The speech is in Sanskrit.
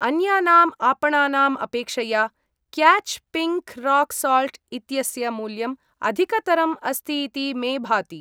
अन्यानाम् आपणानाम् अपेक्षया क्याच् पिङ्क् राक् साल्ट् इत्यस्य मूल्यम् अधिकतरम् अस्ति इति मे भाति।